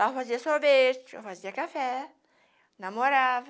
Lá eu fazia sorvete, eu fazia café, namorava.